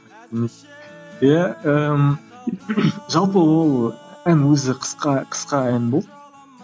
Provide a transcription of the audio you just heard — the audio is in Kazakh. иә ііі жалпы ол ән өзі қысқа қысқа ән болды